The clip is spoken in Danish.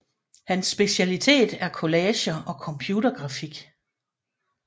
Hans specialitet er collager og computergrafik